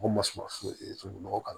Ko masinɛ foyi t'a la